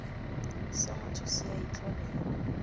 sa motho se a itlholela